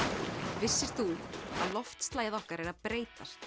vissir þú að loftslagið okkar er að breytast